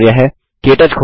के टच खोलें